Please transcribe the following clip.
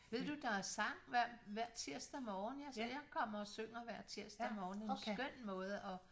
Ved du der er sang hver hver tirsdag morgen jeg kommer og synger hver tirsdag morgen en skøn måde at